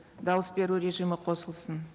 дауыс беру режимі қосылсын